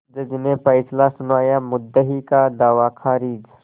जज ने फैसला सुनायामुद्दई का दावा खारिज